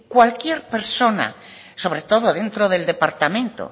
cualquier persona sobre todo dentro del departamento